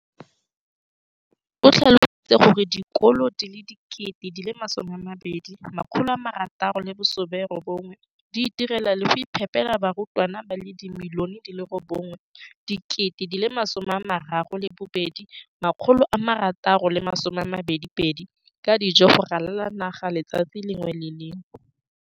o tlhalositse gore dikolo di le 20 619 di itirela le go iphepela barutwana ba le 9 032 622 ka dijo go ralala naga letsatsi le lengwe le le lengwe.